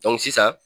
sisan